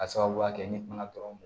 K'a sababuya kɛ n'i bana dɔrɔn